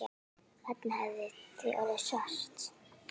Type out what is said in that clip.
Barnið hefði því orðið svart.